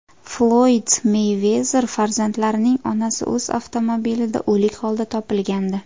Floyd Meyvezer farzandlarining onasi o‘z avtomobilida o‘lik holda topilgandi.